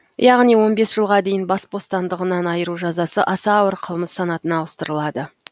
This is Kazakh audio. яғни он бес жылға дейін бас бостандығынан айыру жазасы аса ауыр қылмыс санатына ауыстырылады